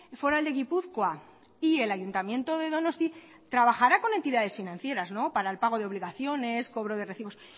foral de gipuzkoa y el ayuntamiento de donosti trabajarán con entidades financieras para el pago de obligaciones cobro de recibos